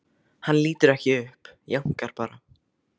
Hann lítur ekki upp, jánkar bara.